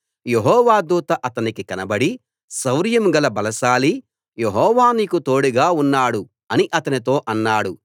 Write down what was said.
యెహోవా దూత అతనికి కనబడి శౌర్యం గల బలశాలీ యెహోవా నీకు తోడుగా ఉన్నాడు అని అతనితో అన్నాడు